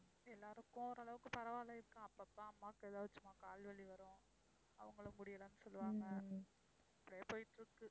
எல்லாருக்கும் ஓரளவுக்கு பரவால்லை இப்ப. அப்பப்ப அம்மாவுக்கு ஏதாச்சும் கால் வலி வரும். அவங்களும் முடியலன்னு சொல்லுவாங்க. அப்படியே போயிட்டு இருக்கு.